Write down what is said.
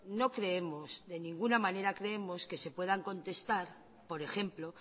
no creemos de ninguna manera creemos que se puedan contestar por ejemplo